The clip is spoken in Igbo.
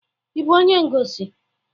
Ị bụ onye ngosi?